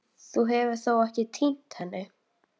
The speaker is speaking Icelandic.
Þú hefur þó ekki. týnt henni?